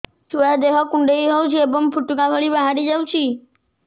ଛୁଆ ଦେହ କୁଣ୍ଡେଇ ହଉଛି ଏବଂ ଫୁଟୁକା ଭଳି ବାହାରିଯାଉଛି